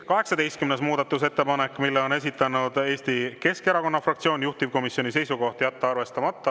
18. muudatusettepanek, mille on esitanud Eesti Keskerakonna fraktsioon, juhtivkomisjoni seisukoht: jätta arvestamata.